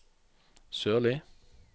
Sørli